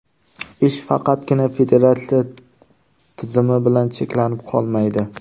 Ish faqatgina federatsiya tizimi bilan cheklanib qolmaydi.